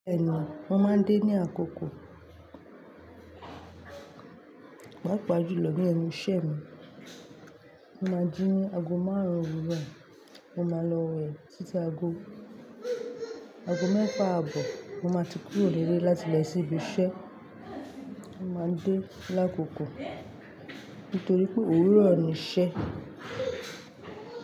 Ẹnu, mo máa ń dé ní àkókò. Pàápàá jùlọ ní ẹnu iṣẹ́ mi. Mo máa jí ago márùn òwúrọ̀, mo máa lọ wẹ̀ títí ago, ago mẹ́fà àbọ̀ mo máa ti kúrò nilẹ̀ láti lọ sí ibi iṣẹ́. Mo máa ń dé lákòókò nítorí pé òwúrọ̀ ni iṣẹ́.